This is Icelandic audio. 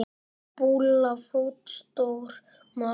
Bulla fótstór maður er.